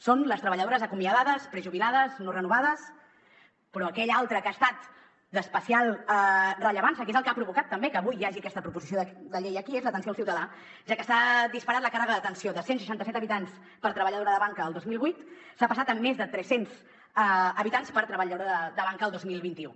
són les treballadores acomiadades prejubilades no renovades però aquell altre que ha estat d’especial rellevància que és el que ha provocat també que avui hi hagi aquesta proposició de llei aquí és l’atenció al ciutadà ja que s’ha disparat la càrrega d’atenció de cent i seixanta set habitants per treballadora de banca el dos mil vuit s’ha passat a més de tres cents habitants per treballadora de banca el dos mil vint u